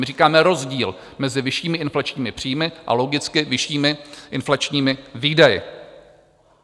My říkáme rozdíl mezi vyššími inflačními příjmy a logicky vyššími inflačními výdaji.